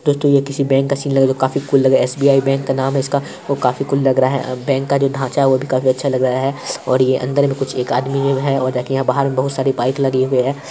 दोस्तो यह किसी बैंक का सीन लग रहा है जो काफी कुल लग रहा है एस_बी_आई बैंक का नाम है इसका जो काफी कुल लग रहा है बैंक का जो ढांचा है वो भी काफी अच्छा लग रहा है और ये अंदर में कुछ एक आदमी लोग हैं और देखिये यहाँ बाहर में बहुत सारी बाइक लगी हुई है।